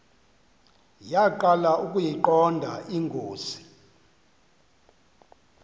yaqala ukuyiqonda ingozi